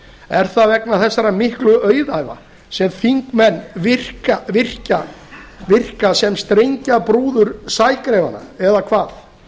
er það vegna þessara miklu auðæfa sem þingmenn virka sem stengjabrúður sægreifanna eða hvað